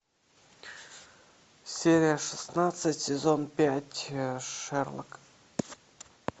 серия шестнадцать сезон пять шерлок